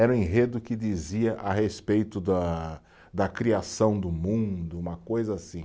Era um enredo que dizia a respeito da da criação do mundo, uma coisa assim.